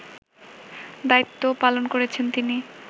দায়িত্বও পালন করেছেন তিনি